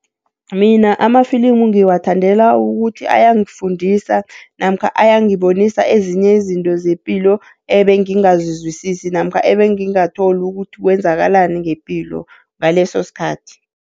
Mina amafilimu ngiwathandela ukuthi ayangifundisa namkha ayangibonisa ezinye izinto zepilo, ebengingazizwisisa namkha ebengingatholi ukuthi kwenzakalani ngepilo ngaleso sikhathi.